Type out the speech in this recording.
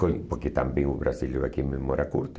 Porque também o brasileiro aqui é memória curta.